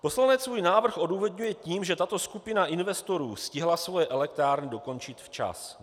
Poslanec svůj návrh odůvodňuje tím, že tato skupina investorů stihla svoje elektrárny dokončit včas.